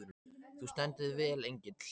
Þú stendur þig vel, Engill!